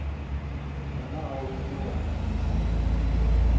wena ga o bone gore